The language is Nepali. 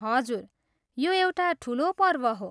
हजुर, यो एउटा ठुलो पर्व हो।